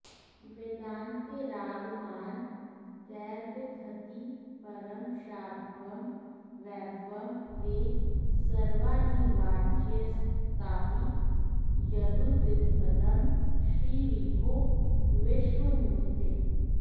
वेदान्तैरागमान्तैरभिदधति परं शाम्भवं वैभवं ते सर्वानिर्वाच्यसत्तावियदुदितपदं श्रीविभो विश्वमूर्ते